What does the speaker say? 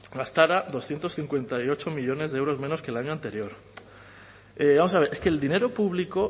gastara doscientos cincuenta y ocho millónes de euros menos que el año anterior vamos a ver es que el dinero público